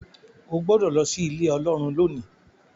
o gbódò ló sí Ilé Ọlọ́run lónì.